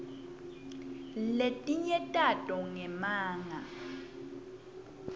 letinye tato ngemanga